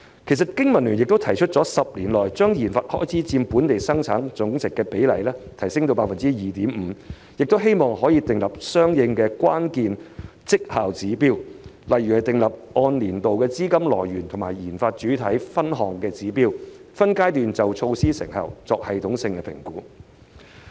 其實，經民聯亦曾提出建議，在10年內把研發開支佔本地生產總值的比例提升至 2.5%， 並希望政府訂立相應的關鍵績效指標，例如訂立按年度的資金來源和研發主體分項指標，分階段就措施成效作系統性評估。